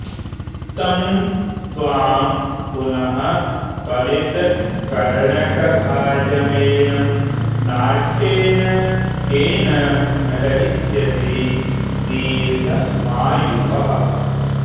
तं त्वां पुनः पलितकर्णकभाजमेनं नाट्येन केन नटयिष्यति दीर्घमायुअः